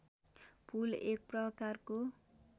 पुल एक प्रकारको